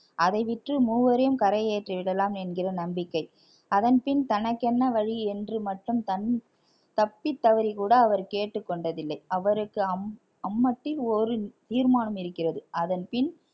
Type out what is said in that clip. அதை விற்று மூவரையும் கரையேற்றி விடலாம் என்கிற நம்பிக்கை அதன்பின் தனக்கென்ன வழி என்று மட்டும் தன்~ தப்பித்தவறி கூட அவர் கேட்டுக் கொண்டதில்லை அவருக்கு அம்~ அம்மத்தில் ஒரு தீர்மானம் இருக்கிறது அதன்பின்